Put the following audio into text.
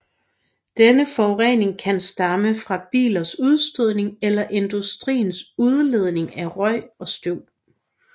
Denne forurening kan fx stamme fra bilers udstødning eller industriens udledning af røg og støv